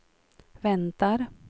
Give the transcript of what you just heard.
väntar